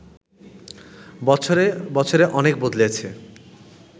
বছরে বছরে অনেক বদলেছে